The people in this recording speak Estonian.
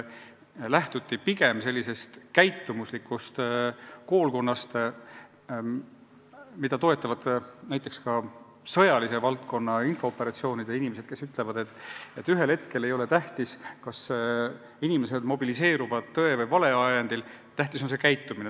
Lähtuti pigem sellisest käitumuslikust koolkonnast, mida toetavad näiteks ka sõjanduse valdkonnaga ja infooperatsioonidega tegelevad inimesed, kes väidavad, et ühel hetkel ei ole tähtis, kas inimesed mobiliseeruvad tõe või vale ajendil – tähtis on, kuidas nad käituvad.